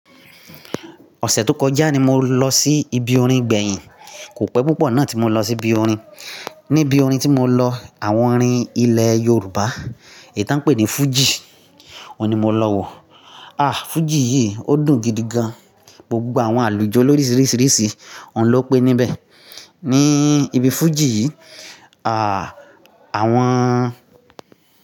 Ọ̀sẹ̀ tó kọjá ni mo lọ sí ibi orin gbẹ̀yìn. Kò pẹ́ púpọ̀ náà tí mo lọ sí ibi orin. Ní ibi orin tí mo lọ, àwọn orin ilẹ̀ Yorùbá, èyí tí à ń pè ní Fuji, òun ni mo lọ wò. Ah! Fuji yìí ó dùn gidi gan. Gbogbo àwọn àlùjo lóríṣiríṣi, òun ló pé níbẹ̀. Ní ibi Fuji yìí, à, àwọn.